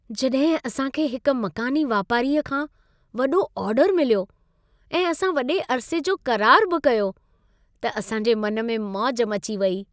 जॾहिं असां खे हिक मक़ानी वापारी खां वॾो ऑर्डर मिलियो ऐं असां वॾे अरिसे जो क़रार बि कयो, त असां जे मन में मौज मची वेई।